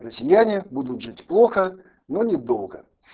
россияне будут жить плохо но недолго